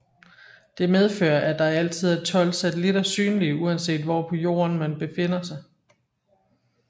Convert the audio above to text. Det medfører at der altid er tolv satellitter synlige uanset hvor på Jorden man befinder sig